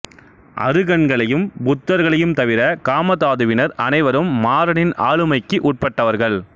அருகன்களையும் புத்தர்களையும் தவிர காமதாதுவினர் அனைவரும் மாரனின் ஆளுமைக்கு உட்பட்டவர்கள்